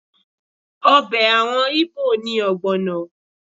Ọbẹ̀ àwọn Íbò ni ọ̀gbọ̀nà